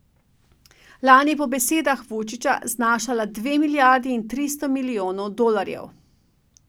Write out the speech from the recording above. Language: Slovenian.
Lani je po besedah Vučića znašala dve milijardi in tristo milijonov dolarjev.